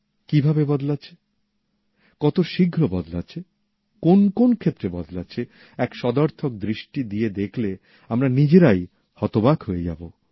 কিভাবে বদলাচ্ছে কত শীঘ্র বদলাচ্ছে কোন কোন ক্ষেত্রে বদলাচ্ছে এক সদর্থক দৃষ্টি দিয়ে দেখলে আমরা নিজেরাই হতবাক হয়ে যাব